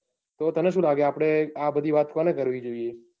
તો તને સુ લાગે આપડે આ બધી વાત કોને કરવી જોઈએ.